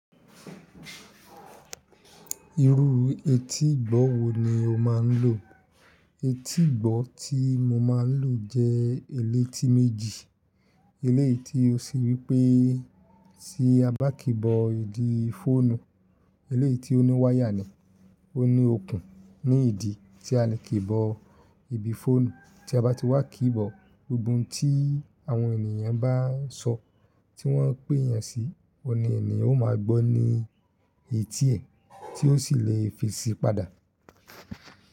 Irú etí ìgbọ́ wo ni o máa ń lò? Etí ìgbọ́ tí mo máa ń lò jẹ́ eléti méjì. Eléyi tí ó ṣe wípẹ́ tí a bá kíbọ̀ ìdí fóònù eléétí ó ní wáyà ni. Ó ní okùn ní ìdí tí a lè kíbọ̀ ibi fóònù. Tí a bá ti wá kíbọ̀, gbogbo ohun tí àwọn ènìyàn bá ń sọ, tí wọ́n ń pè yẹn sí i, ọni ènìyàn ó máa gbọ́ ní etí ẹ̀, tí ó sì lè fi síi padà.